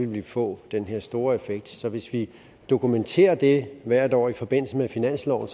vi få den her store effekt så hvis vi dokumenterer det hvert år i forbindelse med finansloven